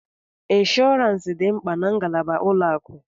Ịnshọọransị dị mkpa na ngalaba ụlọ akụ.